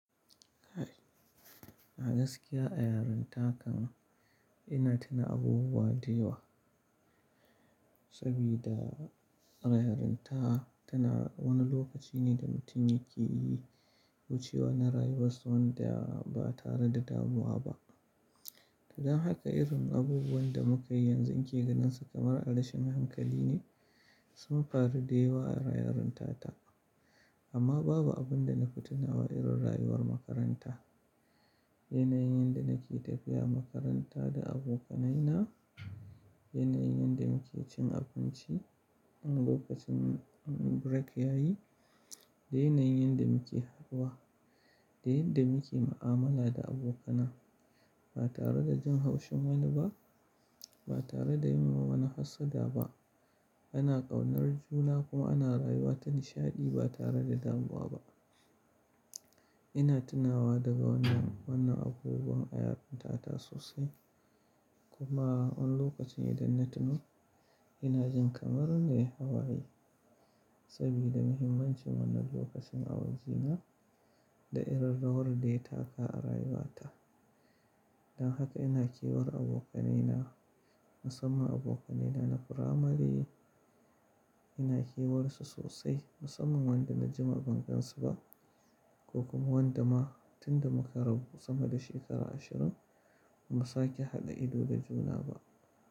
A gaskiya, ayarinta kan ina tuna abubuwa da yawa sabida rayarinta tana wani lokaci ne da mutum yake yi wucewa na rayuwar sa wanda ba tare da damuwa ba. Dan haka irin abubuwan da muka yanzu ake ganin su kamar adashen hankali ne, sun faru da yawa a rayarinta ta. Amma babu abin da na fi tunawa irin rayuwar makaranta. Yanayin yadda nake tafiya makaranta da abokanai na, yanayin yadda muke cin abinci in lokacin break yayi, da yanayin yadda muke haɗuwa, da yadda muke mu'amala da abokana ba tare da jin haushin wani ba, ba tare da yin wa wani hassada ba. Ana kaunar juna kuma ana rayuwa ta nishaɗi ba tare da damuwa ba. Ina tunawa daga wannan, wannan abubuwan ayarinta ta sosai. Kuma wani lokacin idan na tuno, ina jin kamar nayi hawaye sabida muhimmancin wannan lokacin a wajena da irarrawar dai taka a rayuwa ta. Dan haka ina kewar abokanaina, musamman abokanaina na furamare, ina kiwar su sosai musamman wanda na ji ma bamgansu ba ko kuma wanda ma tunda muka rabu sama da shekara ashirin ba sake hada ido da juna ba.